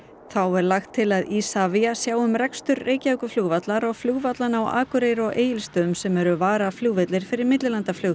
þá er lagt til að ISAVIA sjái um rekstur Reykjavíkurflugvallar og flugvallanna á Akureyri og Egilsstöðum sem eru varaflugvellir fyrir millilandaflug